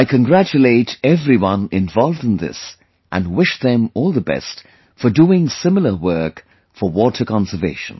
I congratulate everyone involved in this and wish them all the best for doing similar work for water conservation